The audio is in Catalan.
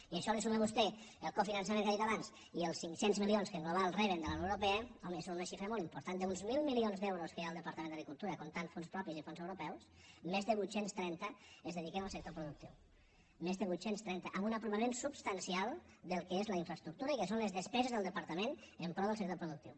i a això hi suma vostè el cofinançament que ha dit abans i els cinc cents milions que en global reben de la unió europea home són unes xifres molt importants d’uns mil milions d’euros que hi ha al departament d’agricultura comptant fons propis i fons europeus més de vuit cents i trenta es dediquen al sector productiu més de vuit cents i trenta amb un aprimament substancial del que és la infraestructura i del que són les despeses del departament en pro del sector productiu